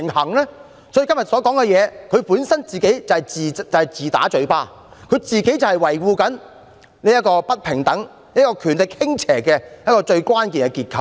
所以，政府今天所說的，根本是自打嘴巴，政府正是維護不平等、權力傾斜的最關鍵結構。